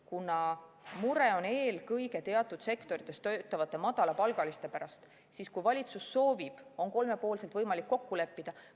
Kuna mure on eelkõige teatud sektorites töötavate madalapalgaliste pärast, siis kui valitsus soovib, on kolmepoolselt võimalik kokku leppida.